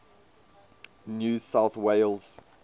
new south wales